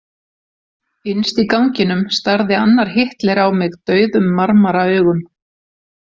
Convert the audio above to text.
Innst í ganginum starði annar Hitler á mig dauðum marmaraaugum.